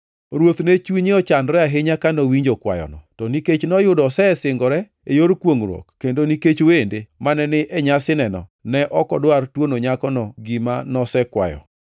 Ruoth ne chunye ochandore ahinya ka nowinjo kwayono, to nikech noyudo osesingore e yor kwongʼruok, kendo nikech wende mane ni e nyasineno, ne ok odwar tuono nyakono gima nosekwayo.